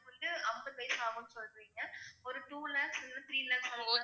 வந்து ஐம்பது வயசு ஆகும்ன்னு சொல்றீங்க ஒரு two lakhs இல்லைன்னா three lakhs